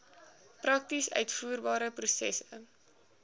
prakties uitvoerbare prosesse